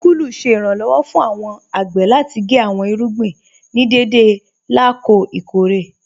Síkùlù ṣẹ̀ iranlọ́wọ̀ fún awọn agbè láti gé awọn irúgbìn ní dẹdẹ lákọ̀ọ̀ ikọ̀ré.